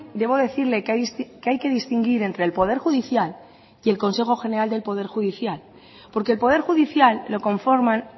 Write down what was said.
debo decirle que hay que distinguir entre el poder judicial y el consejo general del poder judicial porque el poder judicial lo conforman